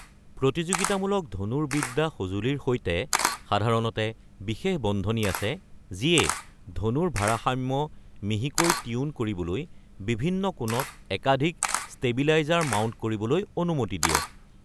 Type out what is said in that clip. প্ৰতিযোগিতামূলক ধনুৰ্বিদ্যা সঁজুলিৰ সৈতে সাধাৰণতে বিশেষ বন্ধনি আছে যিয়ে ধনুৰ ভাৰসাম্য মিহিকৈ টিউন কৰিবলৈ বিভিন্ন কোণত একাধিক ষ্টেবিলাইজাৰ মাউণ্ট কৰিবলৈ অনুমতি দিয়ে।